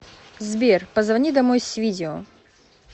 сбер позвони домой с видео